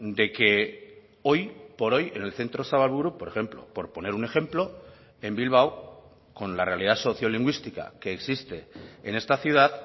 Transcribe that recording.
de que hoy por hoy en el centro zabalburu por ejemplo por poner un ejemplo en bilbao con la realidad sociolingüística que existe en esta ciudad